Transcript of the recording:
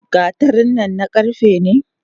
Gatarin nan na karfe ne?